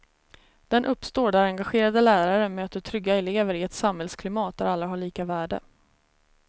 Den uppstår där engagerade lärare möter trygga elever i ett samhällsklimat där alla har lika värde.